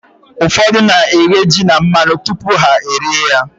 Ụfọdụ na-eghe ji na mmanụ tupu ha e rie ya.